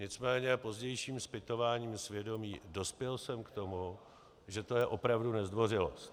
Nicméně pozdějším zpytováním svědomí dospěl jsem k tomu, že to je opravdu nezdvořilost.